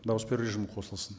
дауыс беру режимі қосылсын